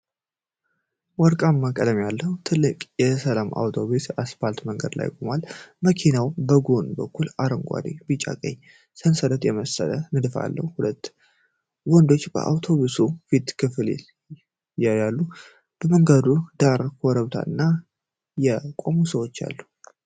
ወርቃማ ቀለም ያለው ትልቅ የሰላም አውቶቡስ በአስፓልት መንገድ ላይ ቆሟል። መኪናው በጎን በኩል አረንጓዴ፣ ቢጫና ቀይ ሰንሰለት የመሰለ ንድፍ አለው። ሁለት ወንዶች የአውቶቡሱን የፊት ክፍል ያያሉ። ከመንገዱ ዳር ኮረብታና የተቆሙ ሰዎች አሉ።